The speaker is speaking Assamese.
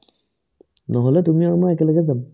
নহ'লে তুমি আৰু মই একেলগে যাম ।